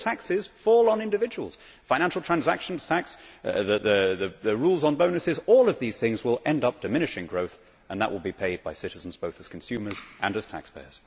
All taxes fall on individuals. Be it the financial transaction tax or the rules on bonuses, all of these things will end up diminishing growth, and that will be paid for by citizens, both as consumers and as taxpayers.